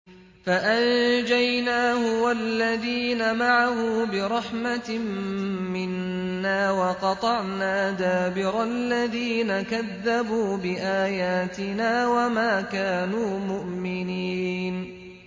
فَأَنجَيْنَاهُ وَالَّذِينَ مَعَهُ بِرَحْمَةٍ مِّنَّا وَقَطَعْنَا دَابِرَ الَّذِينَ كَذَّبُوا بِآيَاتِنَا ۖ وَمَا كَانُوا مُؤْمِنِينَ